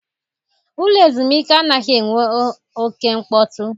Ụlọ ezumike anaghị enwe oke mkpọtụ.